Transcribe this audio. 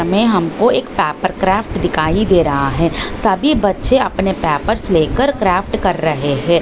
तमे हमको एक पापर क्राफ्ट दिखाई दे रहा है सभी बच्छे आपने पेपर्स लेकर क्राफ्ट कर रहे है।